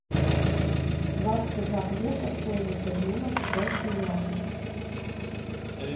двадцать одна песо стоимость обмена в китайские юани